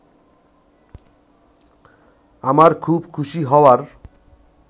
আমার খুব খুশি হওয়ার